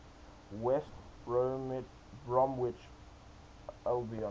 west bromwich albion